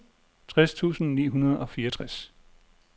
tres tusind ni hundrede og fireogtres